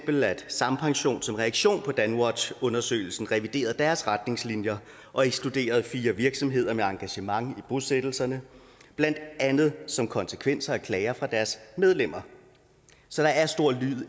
at sampension som reaktion på danwatchundersøgelsen reviderede deres retningslinjer og ekskluderede fire virksomheder med engagement i bosættelserne blandt andet som konsekvens af klager fra deres medlemmer så der er stor